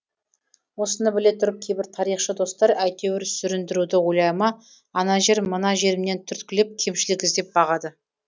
осыны біле тұрып кейбір тарихшы достар әйтеуір сүріндіруді ойлай ма ана жер мына жерімнен түрткілеп кемшілік іздеп бағады